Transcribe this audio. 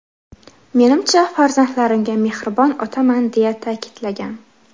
Menimcha, farzandlarimga mehribon otaman”, deya ta’kidlagan.